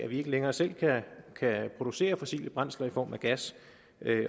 vi ikke længere selv kan producere fossile brændsler i form af gas